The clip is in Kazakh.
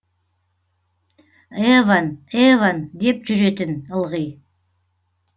евон евон деп жүретін ылғи